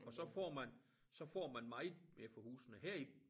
Og så får man så får man meget mere for husene her i